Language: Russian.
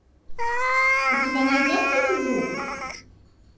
у тебя найдется физрук